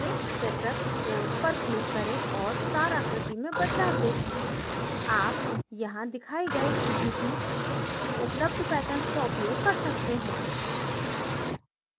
checkerboard पर click करें और star आकृति में बदलाव देखें आप यहाँ दिखाए गए किसी भी उपलब्ध patterns का उपयोग कर सकते हैं